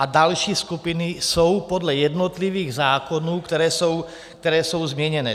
A další skupiny jsou podle jednotlivých zákonů, které jsou změněné.